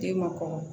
Den ma kɔrɔ